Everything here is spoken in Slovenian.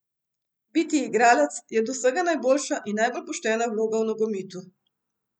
Biti igralec je od vsega najboljša in najbolj poštena vloga v nogometu.